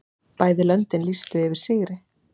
Bæði löndin lýstu yfir sigri.